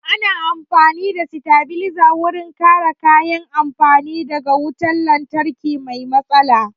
Ana amfani da sitabilizer wurin kare kayan amfani da ga wutan lantarki mai matsala